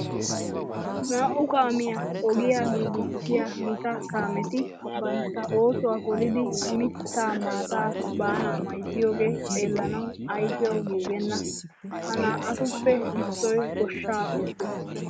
Naa"u kaamiya ogiya giigissiya gita kaameti bantta oosuwa poliiddi mittaa maataa baanaa mayzzoogee xeellanawu ayfiyawu giigenna. Ha naa"atuppe issoy goshshaa oottees.